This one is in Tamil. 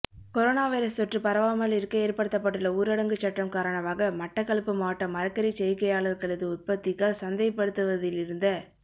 கொரோனா வைரஸ் தாெற்று பரவாமலிருக்க ஏற்படுத்தப்பட்டுள்ள ஊரடங்குச் சட்டம் காரணமாக மட்டக்களப்பு மாவட்ட மரக்கறிச் செய்கையாளர்களது உற்பத்திகள் சந்தைப்படுத்துவதிலிருந்த